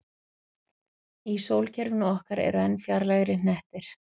Í sólkerfinu okkar eru enn fjarlægari hnettir.